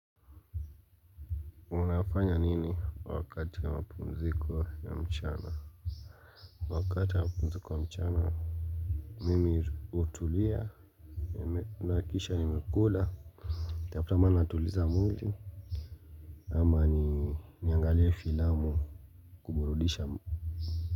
Unafanya nini wakati ya mapumziko ya mchana wakati wa pumziko ya mchana mimi utulia naakisha ni mekula tafuta mahala natuliza mwili ama ni angalie filamu kuburudisha.